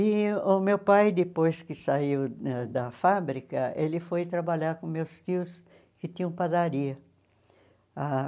E o meu pai, depois que saiu ãh da fábrica, ele foi trabalhar com meus tios que tinham padaria ãh.